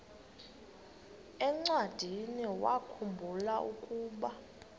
encwadiniwakhu mbula ukuba